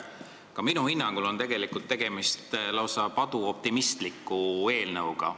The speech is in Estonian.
Ka minu hinnangul on tegemist lausa paduoptimistliku eelnõuga.